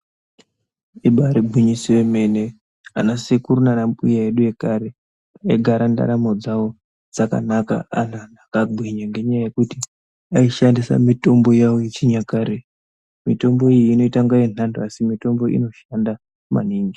Ibari gwinyiso yemene vanasekuru nanambuya edu ekare aigara ndaramo dzavo dzakanaka ari anhu akagwinya ngenyaya yekuti aishandisa mitombo yawo yechinyakare mitombo iyi inoita kunge yenhando asi inoshanda maningi .